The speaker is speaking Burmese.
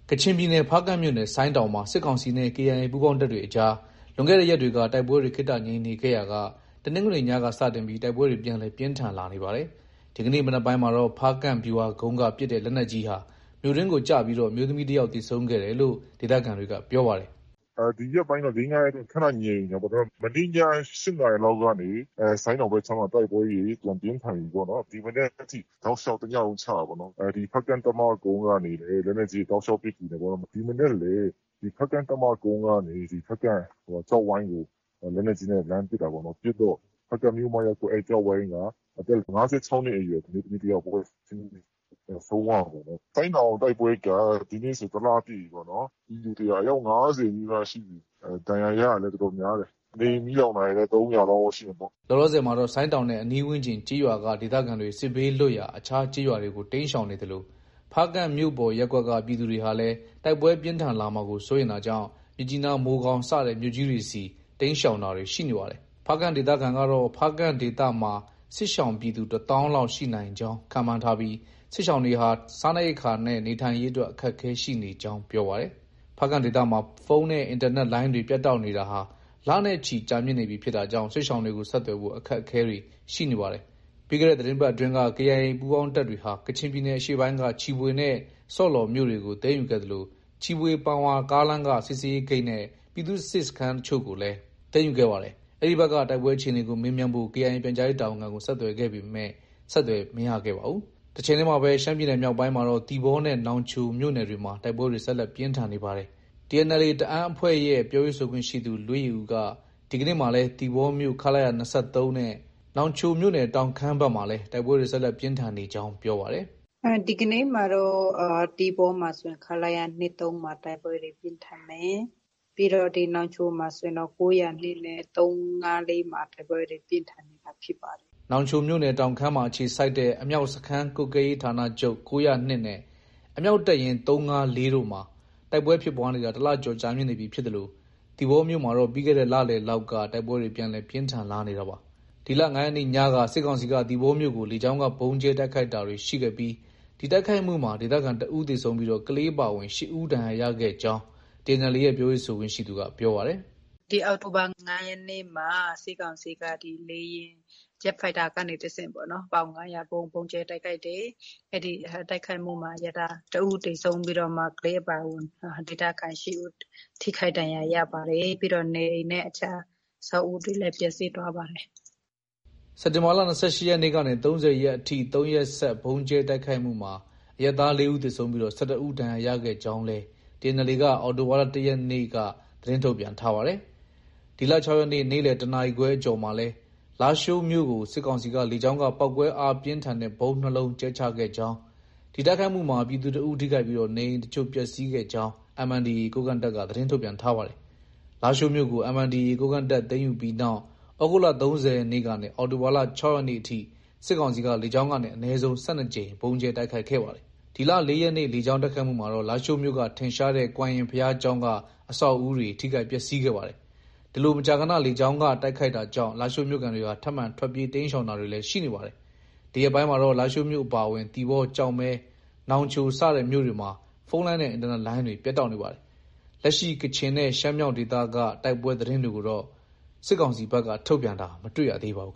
ကချင်ပြည်နယ် ဖားကန့်မြို့နယ် ဆိုင်းတောင်မှာ စစ်ကောင်စီနဲ့ KIA ပူးပေါင်းတပ်တွေအကြား လွန်ခဲ့တဲ့ရက်တွေက တိုက်ပွဲတွေ ခေတ္တငြိမ်နေခဲ့ရာက တနင်္ဂနွေနေ့ညက စတင်ပြီး တိုက်ပွဲတွေ ပြန်လည် ပြင်းထန်လာနေပါတယ်။ ဒီကနေ့ မနက်ပိုင်းမှာတော့ ဖားကန့် ဗျူဟာကုန်းက ပစ်တဲ့ လက်နက်ကြီးဟာ မြို့တွင်းကို ကျပြီး အမျိုးသမီးတယောက်သေဆုံးခဲ့တယ်လို့ ဒေသခံတွေက ပြောပါတယ်။ “ ဒီရက်ပိုင်းတော့ ၄- ၅ရက်လောက် ခဏငြိမ်နေတာပေါ့နော်။ မနေ့ည ၈နာရီကနေ ဆိုင်းတောင်ဘက်မှာ တိုက်ပွဲတွေ ပြန် ပြင်းထန်ပြီပေါ့နော်။ ဒီမနက်ထိတောက်လျောက် တညလုံး ချတာပေါ့နော်။ ဖားကန့်တပ်မကုန်းကနေလည်း လက်နက်ကြီးတွေ တောက်လျောက် ပစ်ကူတာပေါ့နော်။ ဒီမနက်လည်း ဖားကန့်တပ်မကုန်းကနေ ဖားကန့်ကျောက်ဝိုင်းကို လက်နက်ကြီးနဲ့ လှမ်းပစ်တာပေါ့နော်။ ပစ်တော့ ဖားကန့်မြို့မ ရပ်ကွက် အဲဒီကျောက်ဝိုင်းက အသက် ၅၆နှစ်အရွယ် အမျိုးသမီးတယောက် ပွဲချင်းပြီး ဆုံးသွားတာပေါ့နော်။ဆိုင်းတောင်တိုက်ပွဲက ဒီနေ့ဆို တလပြည့်ပြီပေါ့နော်။ ပြည်သူ သေတာ အယောက် ၅၀နီးပါးရှိပြီ ။ ဒဏ်ရာရတာလည်း တော်တော်များတယ်။ နေအိမ်မီးလောင်တာလည်း ၃၀၀ နီးပါးတော့ ရှိမှာပေါ့။” လောလောဆယ်မှာတော့ ဆိုင်းတောင်နဲ့ အနီးဝန်းကျင်ကျေးရွာက ဒေသခံတွေ စစ်ဘေးလွတ်ရာ အခြားကျေးရွာတွေကို တိမ်းရှောင်နေသလို ဖားကန့်မြို့ပေါ်ရပ်ကွက်က ပြည်သူတွေဟာလည်း တိုက်ပွဲ ပြင်းထန်လာမှာကို စိုးရိမ်တာကြောင့် မြစ်ကြီးနား၊ မိုးကောင်း စတဲ့မြို့ကြီးတွေဆီ တိမ်းရှောင်တာတွေ ရှိနေပါတယ်။ ဖားကန့် ဒေသခံ ကတော့ ဖားကန့်ဒေသမှာ စစ်ရှောင်ပြည်သူ ၁သောင်းလောက်ရှိနိုင်ကြောင်း ခန့်မှန်းထားပြီး စစ်ရှောင်တွေဟာ စားနပ်ရိက္ခာနဲ့ နေထိုင်ရေးအတွက် အခက်အခဲရှိနေကြာင်း ပြောပါတယ်။ ဖားကန့်ဒေသမှာ ဖုန်းနဲ့ အင်တာနက် လိုင်းတွေ ပြတ်တောက်နေတာဟာ လနဲ့ ချီကြာမြင့်နေပြီ ဖြစ်တာကြောင့် စစ်ရှောင်တွေကို ဆက်သွယ်ဖို့ အခက်အခဲတွေ ရှိနေပါတယ်။ ပြီးခဲ့တဲ့ သီတင်းပတ်အတွင်းကတော့ KIA ပူးပေါင်းတပ်တွေဟာ ကချင်ပြည်နယ်အရှေ့ပိုင်းက ချီဖွေနဲ့ ဆော့လော်မြို့တွေကို သိမ်းယူခဲ့သလို ချီဖွေ- ပန်ဝါကားလမ်းက စစ်ဆေးရေးဂိတ်နဲ့ ပြည်သူ့စစ် စခန်းအချို့ကို လည်း သိမ်းယူခဲ့ပါတယ်။ အဲဒီဘက်က တိုက်ပွဲအခြေအနေကို မေးမြန်းဖို့ KIA ပြန်ကြားရေးတာဝန်ခံကို ဆက်သွယ်ခဲ့ပေမဲ့ ဆက်သွယ် မရခဲ့ပါဘူး။ တချိန်တည်းမှာပဲ ရှမ်းပြည်နယ်မြောက်ပိုင်းမှာတော့ သီပေါနဲ့ နောင်ချိုမြို့နယ်တွေမှာ တိုက်ပွဲတွေ ဆက်လက်ပြင်းထန်နေပါတယ်။ TNLA တအန်းတပ်ဖွဲ့ရဲ့ ပြောရေးဆိုခွင့်ရှိသူ လွေးယေဦးက ဒီကနေ့မှာလည်း သီပေါမြို့ ခလရ ၂၃ နဲ့ နောင်ချိုမြို့နယ် တောင်ခမ်းဘက်မှာလည်း တိုက်ပွဲတွေ ဆက်လက် ပြင်းထန်နေကြောင်း ပြောပါတယ်။ “ ဒီကနေ့မှာ သီပေါမှာဆိုရင်တော့ ခလရ ၂၃မှာ တိုက်ပွဲတွေ ပြင်းထန်တယ်။ ပြီးတော့ နောင်ချိုမှာဆိုရင်တော့ ၉၀၂နဲ့ ၃၅၄မှာ တိုက်ပွဲတွေ ပြင်းထန်နေတာဖြစ်ပါတယ်။ ” နောင်ချိုမြို့နယ် တောင်ခမ်းမှာ အခြေစိုက်တဲ့ အမြောက်စခန်းကွပ်ကဲရေးဌာနချုပ် ၉၀၂ နဲ့ အမြောက်တပ်ရင်း ၃၅၄ တို့မှာ တိုက်ပွဲဖြစ်ပွားနေတာ ၁ လကျော် ကြာမြင့်နေပြီဖြစ်သလို သီပေါမြို့မှာတော့ ပြီးခဲ့တဲ့ လလယ်လောက်က တိုက်ပွဲတွေ ပြန်လည် ပြင်းထန်လာနေတာပါ။ ဒီလ ၅ရက်နေ့ညက စစ်ကောင်စီက သီပေါမြို့ကို လေကြောင်းက ဗုံးကြဲတိုက်ခိုက်တာတွေရှိခဲ့ပြီး ဒီတိုက်ခိုက်မှုမှာ ဒေသခံ တဦး သေဆုံးပြီး ကလေးအပါအဝင် ၈ဦး ဒဏ်ရာရခဲ့ကြောင်း TNLA ရဲ့ ပြောရေးဆိုခွင့်ရှိသူ ပြောပါတယ်။ “ ဒီအောက်တိုဘာ ၅ရက်နေ့မှာ စစ်ကောင်စီက လေယာဉ် ဂျက်ဖိုက်တာကနေတဆင့်ပေါ့နော်။ ပေါင် ၅၀၀ ဗုံး ဗုံးကြဲတိုက်ခိုက်တယ်။ အဲဒီ တိုက်ခိုက်မှုမှာ အရပ်သား တဦးသေဆုံးပြီးတော့မှ ကလေးအပါအဝင် ဒေသခံ ၈ဦး ထိခိုက်ဒဏ်ရာရပါတယ်။ ပြီးတော့ နေအိမ်နဲ့ အခြား အဆောက်အဦးတွေလည်း ပျက်စီးသွားပါတယ်။ ” စက်တင်ဘာလ ၂၈ရက်ကနေ ၃၀ရက်အထိ ၃ရက်ဆက် ဗုံးကြဲတိုက်ခိုက်မှုမှာ အရပ်သား ၄ဦးသေဆုံးပြီး ၁၁ဦး ဒဏ်ရာရခဲ့ကြောင်းလည်း TNLA က အောက်တိုဘာလ ၁ရက်နေ့ သတင်းထုတ်ပြန်ထားပါတယ်။ ဒီလ၆ရက်နေ့ ၊နေ့လည် ၁နာရီခွဲအကျော်မှာလည်း လားရှိုးမြို့ကို စစ်ကောင်စီက လေကြောင်းက ပေါက်ကွဲအားပြင်းထန်တဲ့ ဗုံး ၂လုံး ကြဲချခဲ့ကြောင်း၊ ဒီတိုက်ခိုက်မှုမှာ ပြည်သူ တဦး ထိခိုက်ပြီး နေအိမ်အချို့ ပျက်ဆီးခဲ့ကြောင်း MNDAA ကိုးကန့်တပ်က သတင်းထုတ်ပြန်ထားပါတယ်။ လားရှိုးမြို့ကို MNDAA ကိုးကန့်တပ်က သိမ်းယူပြီးနောက် သြဂုတ်လ၃၀ရက်နေ့ကနေ အောက်တိုဘာလ ၆ရက်နေ့အထိ စစ်ကောင်စီက လေကြောင်းကနေ အနည်းဆုံး ၁၂ကြိမ်ဗုံးကြဲတိုက်ခိုက်ခဲ့ပါတယ်။ ဒီလ ၄ရက်နေ့ လေကြောင်းတိုက်ခိုက်မှုမှာတော့ လားရှိုးမြို့က ထင်ရှားတဲ့ ကွမ်ရင်ဘုရားကျောင်းက အဆောက်အဦတွေ ထိခိုက်ပျက်ဆီးခဲ့ပါတယ်။ ဒီလို မကြာခဏ လေကြောင်းက တိုက်ခိုက်တာကြောင့် လားရှိုးမြို့ခံတွေဟာ ထပ်မံ ထွက်ပြေးတိမ်းရှောင်တာတွေ လည်း ရှိနေပါတယ်။ ဒီရက်ပိုင်းမှာတော့ လားရှိုးမြို့ အပါအဝင် သီပေါ၊ကျောက်မဲ၊ နောင်ချိုစတဲ့မြို့တွေမျာ ဖုန်းလိုင်းနဲ့ အင်တာနက်လိုင်းတွေ ပြတ်တောက်နေပါတယ်။ လက်ရှိ ကချင်နဲ့ ရှမ်းမြောက်ဒေသတိုက်ပွဲသတင်းကိုတော့ စစ်ကောင်စီဘက်က ထုတ်ပြန်တာ မတွေ့ရပါဘူး